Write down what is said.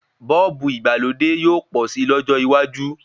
Bọ́ọ̀bù ìgbàlódé yóò pọ̀ si lọ́jọ́ iwájú